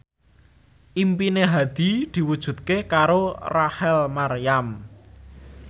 impine Hadi diwujudke karo Rachel Maryam